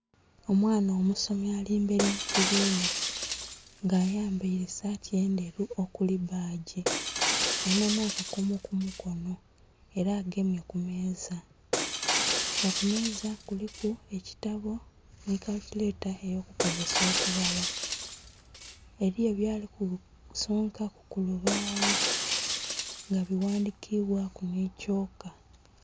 Omwana omusomi alimberi mukibina nga ayambaire saati endheru okuli bbagi alinakakomo kumukono era agemye kumeeza nga kumeeza kuliku ekitabo nikalikyuleta yalikukozesa okubala, eriyo byalikusonkaku kulubawo nga biwandhikibwaku nikyoka.